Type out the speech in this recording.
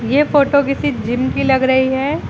यह फोटो किसी जिम की लग रही है।